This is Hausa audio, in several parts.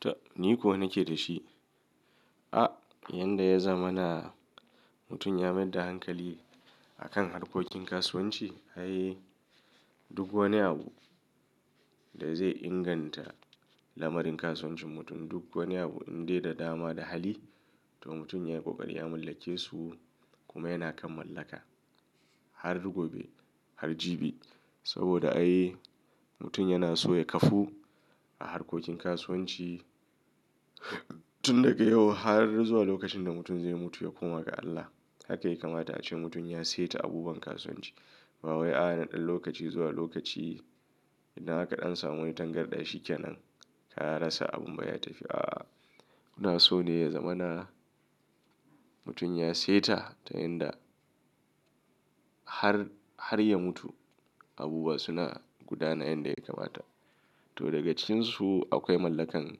Tab! Ni kuwa nake da shi. A yanda ya zamana mutum ya mayadda hankali akan harkokin kasuwanci. Ai duk wani abu da zai inganta lamarin kasuwancin mutum duk wani abu in dai da dama da hali to mutum ya yi ƙoƙari ya mallake su kuma yana kan mallaka har gobe har jibi. Saboda ai mutum yana so ya kafu a harkokin kasuwanci tun daga yau har zuwa lokacin da mutum zai mutu ya koma ga Allah. Haka ya kamata a ce mutum ya seta abubuwan kasuwanci. Bawai a'a na ɗan lokaci zuwa lokaci idan aka ɗan samu wani tangarɗa shikenan ka rasa abun ba ya tafi. A ina so ne ya zama na mutum ya seta ta yanda har, har ya mutu abubuwa suna gudana yanda yakamata. To daga cikinsu akwai mallakan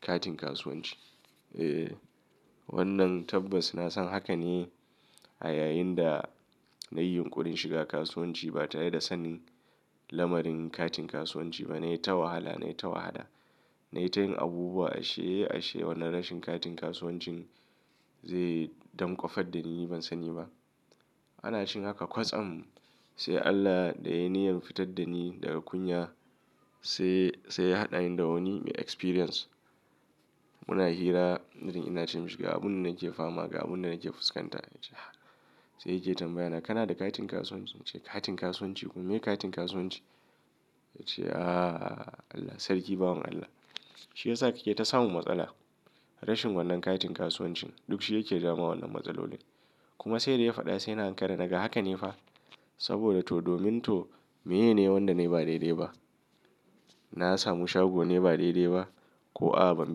katin kasuwanci. E wannan tabbas na san haka ne a yayin da nayi yunƙurin shiga kasuwanci ba tare da sanin lamarin katin kasuwanci ba. Na yi ta wahala na yi ta wahada. Nayi tayin abubuwa ashe ashe wannan rashin katin kasuwancin zai damƙwafar dani ban sani ba. Ana cikin haka kwatsam sai Allah da ya niyyar fitar dani daga kunya sai, sai ya haɗa ni da wani mai experience. Muna hira irin ina ce mishi ga abun da nake fama ga abun da nake fuskanta. Sai yake tambaya na kana da katin kasuwanci? Nace katin kasuwanci kuma meye katin kasuwanci? Yace Allah sarki bawan Allah. Shiyasa kake ta samun matsala. Rashin wannan katin kasuwancin dukshi yake jawoma wannan matsaloli. Kuma saida ya faɗa sai na ankara daga hakane fa saboda to domin to meye ne wanda nayi ba daidai ba. Na samu shago ne ba daidai ba ko a ban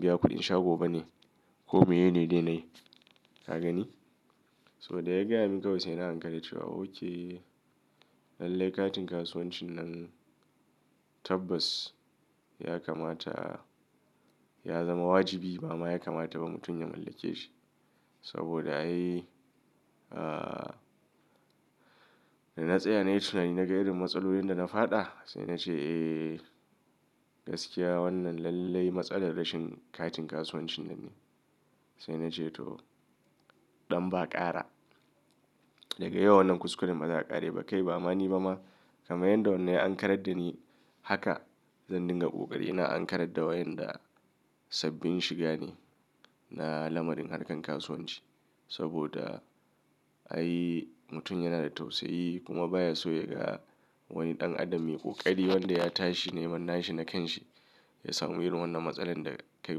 biya kuɗin shago bane ko meye ne dai na yi. Ka gani? So daya gayamin kawai saina ankara cewa okay lallai katin kasuwancin nan tabbas ya kamata ya zama wajibi. Bama ya kamata ba mutum ya mallake shi. Saboda ai dana tsaya nayi tunani na ga irin matsalolin dana faɗa sai nace eh gaskiya wannan lallai matsalar rashin katin kasuwancin nan ne. Sai nace to ɗan ba ƙara. Daga yau wannan kuskuren ba za a ƙara yi ba kai bamani bama kamar yanda wannan ya ankarar da ni haka zan dinga ƙoƙari ina ankarar da wayanda sabbin shigane na lamarin harkar kasuwanci. Saboda ai mutum yana da tausayi kuma baya so yaga wani ɗan adam mai ƙoƙari wanda ya tashi neman nashi na kanshi ya samu irin wannan matsalar da kai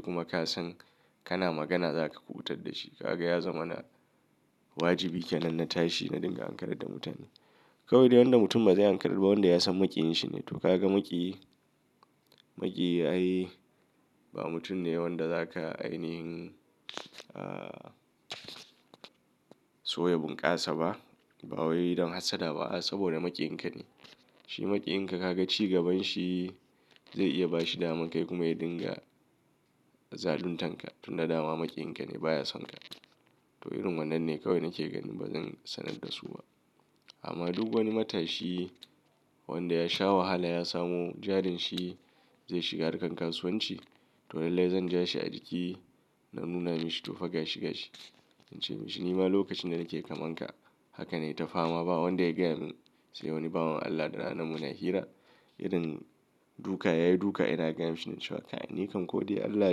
kuma kasan kana magana zaka kuɓutar dashi. Kaga ya zamana wajibi kenan na tashi na dinga ankarar da mutane. Kawai dai wanda mutum ba zai ankarar ba wanda ya san maƙiyin shi ne. To kaga maƙiyi maƙiyi ai ba mutum ne wanda zaka ainihin so ya bunƙasa ba. Bawayi don hassada ba a saboda maƙiyin ka ne. Shi maƙiyinka kaga ci gaban shi zai iya bashi daman kai kuma ya dinga zaluntarka tunda dama maƙiyin ka ne baya son ka. To irin wannan ne kawai nake ganin bazan sanar dasu ba. Amma duk wani matashi wanda ya sha wahala ya samo jarin shi zai shiga harkar kasuwanci to lallai zan ja shi a jiki na nuna mishi to fa gashi-gashi. In ce mishi nima lokacin da nake kamanka haka nayi ta fama ba wanda ya gaya min sai wani bawan Allah da rana muna hira. Irin duka yayi duka ina gaya mishi da cewa kai!, ni kam kodai Allah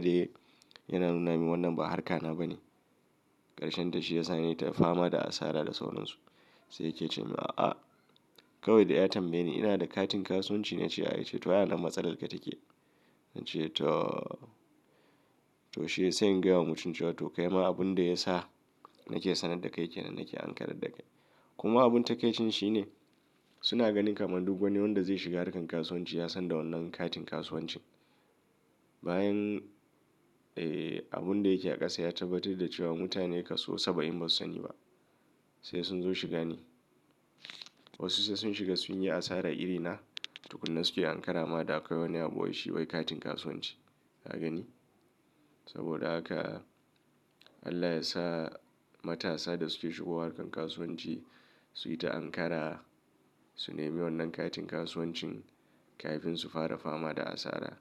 dai yana nuna mini wannan ba harkana bane. Karshenta shiyasa nayita fama da asara da sauransu. Sai yake cemin a'a kawai dai ya tambayeni ina da katin kasuwanci nace a. Yace to ai anan matsalarka take. Nace to, to shiyasa sai in gayawa mutum cewa to kai ma abun da ya sa nake sanar da kai kenan nake ankarar da kai. Kuma abun takaicin shine. Su na ganin kamar duk wani wanda zai shiga harkar kasuwanci yasan da wannan katin kasuwancin. Bayan abunda yake a ƙasa ya tabbatar da cewa mutane kaso saba'in basu sani ba. Sai sun zo shiga ni. Wasu sai sun shiga sunyi asara irina tukunna suke ankara ma da akwai wani abu waishi wai katin kasuwanci. Ka gani? Saboda haka Allah yasa matasa da suke shigowa harkar kasuwanci suyi ta ankara su nemi wannan katin kasuwancin kafin su fara fama da asara.